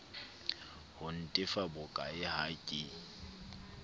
ho ntefa bokae ha ke